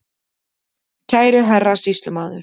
Kæri herra Sýslumaður.